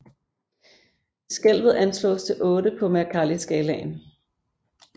Skælvet anslås til 8 på Mercalliskalaen